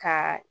Ka